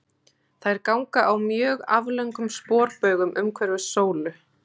Þær ganga á mjög aflöngum sporbaugum umhverfis sólu.